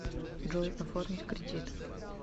джой оформить кредит